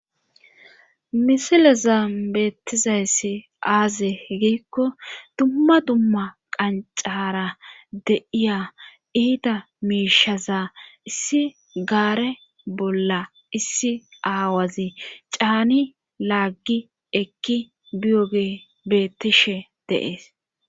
misilezan beettizayssi aaze giikko dumma dumma qancara deiya iida miishaza issi gaare bolla issi aawazi caani laaggi ekki biyoge bettishe deees